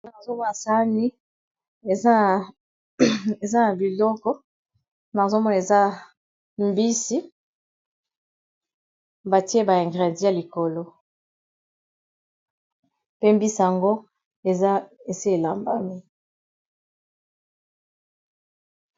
Awa nazomona eza sani n'a mesa biloko kakoliya eza mbisi batie ba ingredi n'a likolo pe mbisi yango eza elambami kitoko